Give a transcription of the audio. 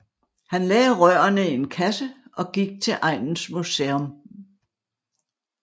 Han lagde rørene i en kasse og gik til egnens museum